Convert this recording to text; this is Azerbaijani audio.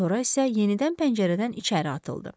Sonra isə yenidən pəncərədən içəri atıldı.